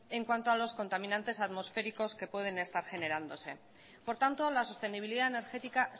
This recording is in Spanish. en cuanto a los contaminantes atmosféricos que pueden estar generándose por tanto la sostenibilidad energética